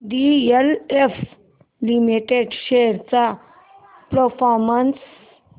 DLF limited shares चा performance